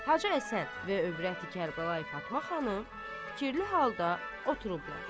Hacı Həsən və övrəti Kərbəlayı Fatma xanım fikirli halda oturublar.